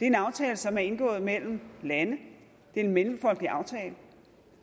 en aftale som er indgået mellem lande det er en mellemfolkelig aftale